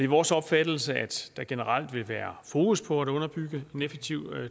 vores opfattelse at der generelt vil være fokus på at underbygge en effektiv